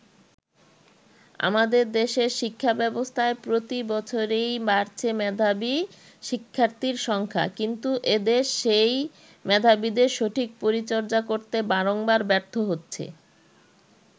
আমাদের দেশের শিক্ষাব্যবস্থায় প্রতি বছরেই বাড়ছে মেধাবী শিক্ষার্থীর সংখ্যা কিন্তু এদেশ সেই মেধাবীদের সঠিক পরিচর্যা করতে বারংবার ব্যর্থ হচ্ছে।